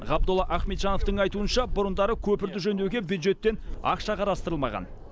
ғабдолла ахметжановтың айтуынша бұрындары көпірді жөндеуге бюджеттен ақша қарастырылмаған